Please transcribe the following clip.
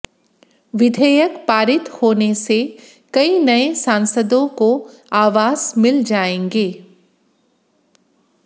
विधेयक पारित होने से कई नये सांसदों को आवास मिल जाएंगे